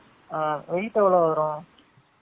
ஆ weight எவலோ வரும்